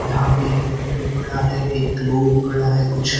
यहां पे एक लैपटॉप पड़ा है एक ग्लोब पड़ा है कुछ--